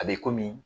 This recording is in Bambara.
A bɛ komi